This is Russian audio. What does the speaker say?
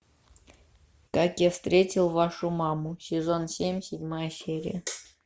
как я встретил вашу маму сезон семь седьмая серия